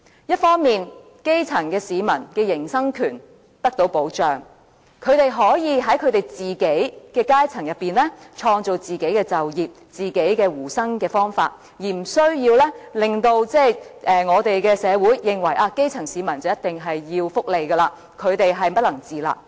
一方面，基層市民的營生權得到保障，他們可以在自己的階層中創造就業和糊口方法，無須令社會認為基層市民便一定要接受福利援助，不能自立。